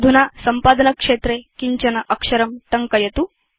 अधुना सम्पादनक्षेत्रे किञ्चन अक्षरं टङ्कयतु